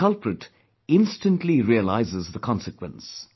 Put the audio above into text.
And the culprit instantly realizes the consequence